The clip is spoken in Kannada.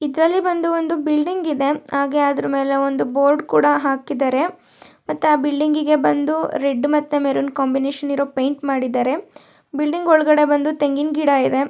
ಇದರಲ್ಲಿ ಬಂದು ಒಂದು ಬಿಲ್ಡಿಂಗ್ ಇದೆ ಹಾಗೆ ಅದರ ಮೇಲೆ ಒಂದು ಬೋರ್ಡ್ ಕೂಡ ಹಾಕಿದ್ದಾರೆ ಮತ್ತೆ ಆ ಬಿಲ್ಡಿಂಗಿಗೆ ಬಂದು ರೆಡ್ ಮತ್ತು ಮೆರುನ್ ಕಾಂಬಿನೇಷನ್ ಇರೋ ಪೈಂಟ್ ಮಾಡಿದರೆ ಬಿಲ್ಡಿಂಗ್ ಒಳಗಡೆ ಬಂದು ತೆಂಗಿನ್ ಗಿಡ ಇದೆ --